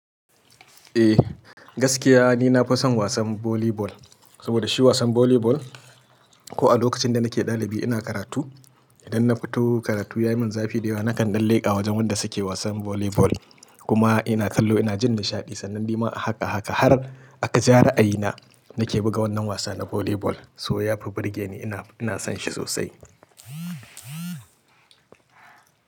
Eh, gaskiya ni na fi son wasan volleyball. Saboda shi wasan volleyball ko a lokacin da nake ɗalibi ina karatu, idan na fito karatu ya yi min zafi da yawa nakan ɗan leƙa wajen wanda suke wasan volleyball kuma ina kallo ina jin nishaɗi. Sannan ni ma a haka a haka har a kaji ra'ayina nake buga wannan wasa na volleyball. So yafi birge ni ina, ina son shi sosai.